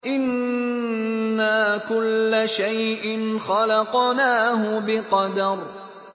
إِنَّا كُلَّ شَيْءٍ خَلَقْنَاهُ بِقَدَرٍ